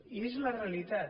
i és la realitat